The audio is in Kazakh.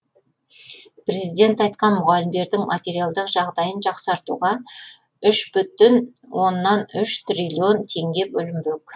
президент айтқан мұғалімдердің материалдық жағдайын жақсартуға үш бүтін оннан үш триллион теңге бөлінбек